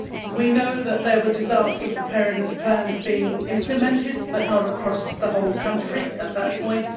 We know that there were disaster preparedness plans being implemented, but not across the whole country at that point.